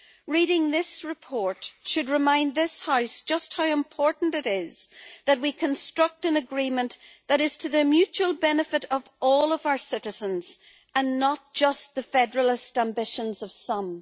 Reading this report should remind this House just how important it is that we construct an agreement that is to the mutual benefit of all of our citizens, and not just the federalist ambitions of some.